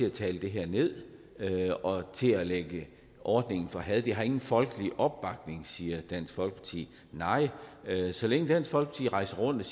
at tale det her ned og til at lægge ordningen for had den har ingen folkelig opbakning siger dansk folkeparti nej så længe dansk folkeparti rejser rundt